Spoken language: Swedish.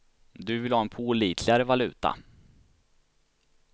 Du vill ha en pålitligare valuta.